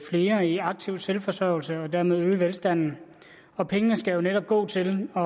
flere i aktiv selvforsørgelse og dermed øge velstanden og pengene skal jo netop gå til at